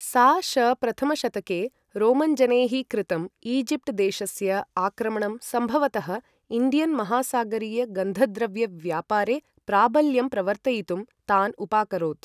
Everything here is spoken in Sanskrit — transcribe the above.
सा.श. प्रथम शतके रोमन् जनैः कृतम् ईजिप्ट् देशस्य आक्रमणं सम्भवतः इण्डियन् महासागरीय गन्धद्रव्य व्यापारे प्राबल्यं प्रवर्तयितुं तान् उपाकरोत्।